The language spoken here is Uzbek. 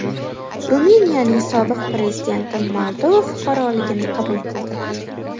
Ruminiyaning sobiq prezidenti Moldova fuqaroligini qabul qildi.